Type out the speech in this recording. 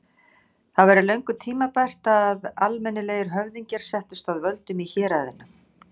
Það væri löngu tímabært að almennilegir höfðingjar settust að völdum í héraðinu.